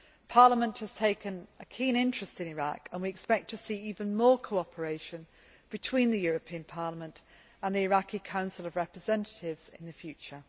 Parliament has taken a keen interest in Iraq, and we expect to see even more cooperation between the European Parliament and the Iraqi Council of Representatives in the future.